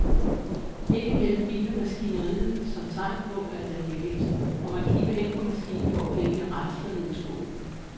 Ind imellem hviner maskineriet som tegn på, at der er gevinst, og man kigger hen på maskinen, hvor pengene rasler ned i skålen.